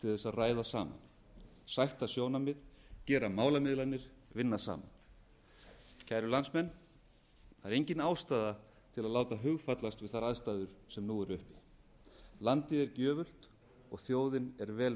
ræða saman sætta sjónarmið gera málamiðlanir vinna saman kæru landsmenn það er engin ástæða til að láta hugfallast við þær aðstæður sem nú eru uppi landið er gjöfult og þjóðin er vel